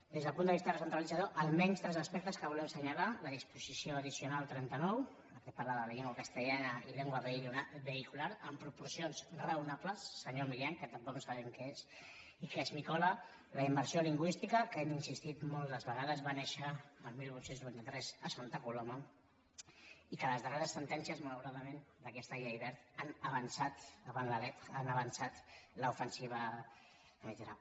des del punt de vista recentralitzador almenys tres aspectes que volem assenyalar la disposició addicional trenta nou la que parla de la llengua castellana i llengua vehicular en proporcions raonables senyor milián que tampoc sabem què és i que esmicola la immersió lingüística que hi hem insistit moltes vegades va néixer el divuit noranta tres a santa coloma i que les darreres sentències malauradament d’aquesta llei wert han avançat avant la lettrel’ofensiva espanyolitzadora